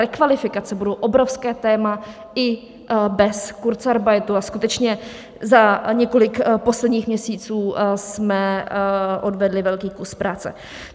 Rekvalifikace budou obrovské téma i bez kurzarbeitu a skutečně za několik posledních měsíců jsme odvedli velký kus práce.